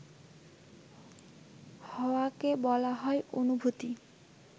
হওয়াকে বলা হয় অনুভূতি